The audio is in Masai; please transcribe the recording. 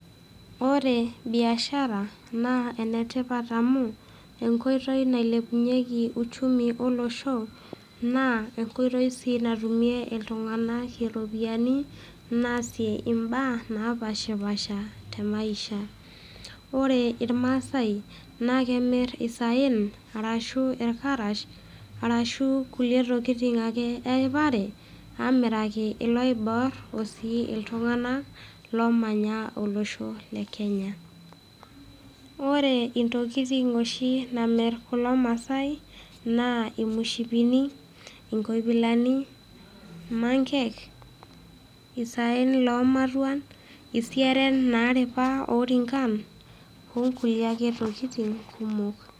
Ore biashara, naa enetipat amu, enkoitoi nailepunyeki uchumi olosho, naa enkoitoi si natumie iltung'anak iropiyiani, naasie imbaa, napashipasha temaisha. Ore irmaasai, na kemir isaen, arashu irkarash, arashu kulie tokiting ake eripare, amiraki iloiboor, osii iltung'anak omanya olosho le Kenya. Ore intokiting oshi namir kulo maasai, naa imushipini, inkoipilani, mankek, isaen lomatuan, isieren naripa orinkan, onkulie ake tokiting kumok.